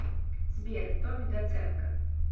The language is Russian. сбер томми доценко